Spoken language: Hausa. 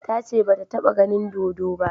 Ta ce ba ta ta ba ganin dodo ba